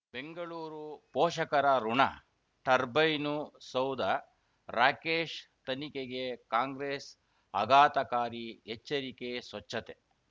ಬೆಂಗಳೂರು ಪೋಷಕರಋಣ ಟರ್ಬೈನು ಸೌಧ ರಾಕೇಶ್ ತನಿಖೆಗೆ ಕಾಂಗ್ರೆಸ್ ಆಘಾತಕಾರಿ ಎಚ್ಚರಿಕೆ ಸ್ವಚ್ಛತೆ